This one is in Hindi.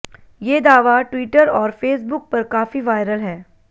ये दावा ट्विटर और फे़सबुक पर काफ़ी वायरल है